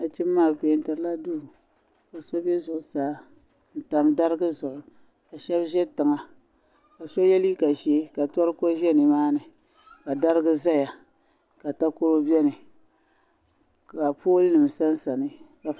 Nachinba maa bi pɛɛntiri la duu ka so bɛ zuɣu saa n tam darigi zuɣu ka shɛba ʒɛ tiŋa ka so yɛ liiga ʒee ka toroko ʒɛ ni maa ni ka darigi ʒɛya ka takoro bɛni ka pooli nim sa n sa ni.